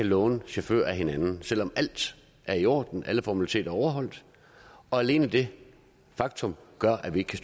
låne chauffører af hinanden selv om alt er i orden alle formaliteter er overholdt og alene det faktum gør at vi ikke